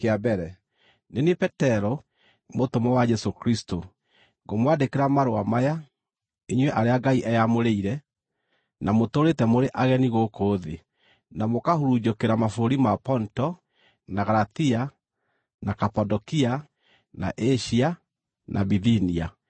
Nĩ niĩ Petero, mũtũmwo wa Jesũ Kristũ, Ngũmwandĩkĩra marũa maya, inyuĩ arĩa Ngai eyamũrĩire, na mũtũũrĩte mũrĩ ageni gũkũ thĩ, na mũkahurunjũkĩra mabũrũri ma Ponto, na Galatia, na Kapadokia, na Asia, na Bithinia,